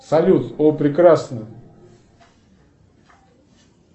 салют о прекрасно